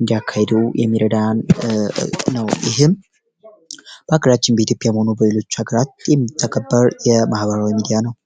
እንዳካሄዱ የሚረዳን ነው ይህም በሀግራችን በኢትዮጵያ በሌሎች ሃገራት የተከበረ የማህበራዊ ሚዲያ ነው።